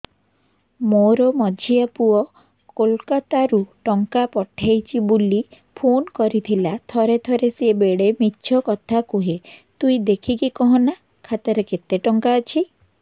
ମୋର ମଝିଆ ପୁଅ କୋଲକତା ରୁ ଟଙ୍କା ପଠେଇଚି ବୁଲି ଫୁନ କରିଥିଲା ଥରେ ଥରେ ସିଏ ବେଡେ ମିଛ କଥା କୁହେ ତୁଇ ଦେଖିକି କହନା ଖାତାରେ କେତ ଟଙ୍କା ଅଛି